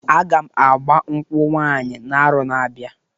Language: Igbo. Aga m agba nkwụ nwanyị n'arọ na-abịa.